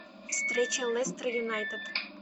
встреча лестер юнайтед